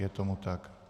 Je tomu tak.